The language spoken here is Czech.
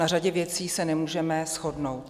Na řadě věcí se nemůžeme shodnout.